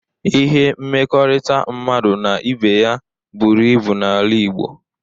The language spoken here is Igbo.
Ihe mmekọrịta mmadụ na ibe ya buru ibu n'ala igbo